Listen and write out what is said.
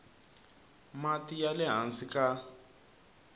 mati ya le hansi ka